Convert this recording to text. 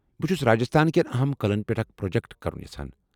بہٕ چُھس راجستھان کٮ۪ن اہم قلعن پٮ۪ٹھ اکھ پرٛوجکٹ کرُن یژھان ۔